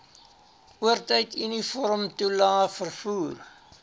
oortyd uniformtoelae vervoer